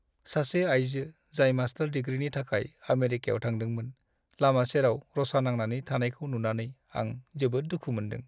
सासे आयजो, जाय मास्टार डिग्रीनि थाखाय आमेरिकायाव थादोंमोन, लामा सेराव रसा नांनानै थानायखौ नुनानै आं जोबोद दुखु मोन्दों।